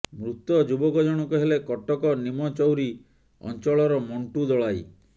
ମୃତ ଯୁବକ ଜଣକ ହେଲେ କଟକ ନିମଚୌରି ଅଞ୍ଚଳର ମଣ୍ଟୁ ଦଳାଇ